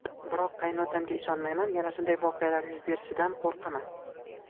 Biroq qaynotamga ishonmayman, yana shunday voqealar yuz berishidan qo‘rqaman.